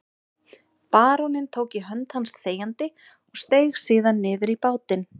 Baróninn tók í hönd hans þegjandi og steig síðan niður í bátinn.